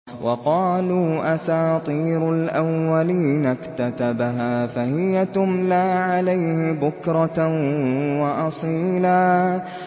وَقَالُوا أَسَاطِيرُ الْأَوَّلِينَ اكْتَتَبَهَا فَهِيَ تُمْلَىٰ عَلَيْهِ بُكْرَةً وَأَصِيلًا